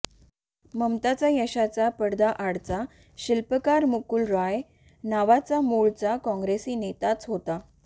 ममतांच्या यशाचा पडद्याआडचा शिल्पकार मुकूल रॉय नावाचा मूळचा काँग्रेसी नेताच होता